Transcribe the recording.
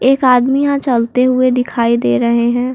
एक आदमी यहां चलते हुए दिखाई दे रहें हैं।